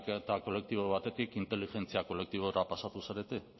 ariketa kolektibo batetik inteligentzia kolektibora pasatu zarete